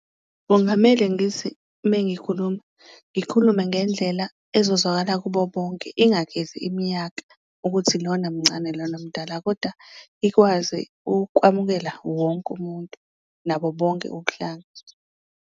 Kungamele ngithi mengikhuluma, ngikhulume ngendlela ezozwakala kubo bonke ingakhethi iminyaka ukuthi lona mncane lona mdala, koda ikwazi ukwamukela wonke umuntu nabo bonke ubuhlanga.